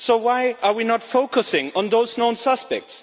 So why are we not focusing on those known suspects?